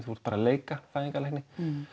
þú ert bara að leika fæðingarlækni